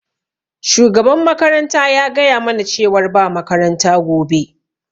Shugaban makaranta ya gaya mana cewar ba makaranta gobe.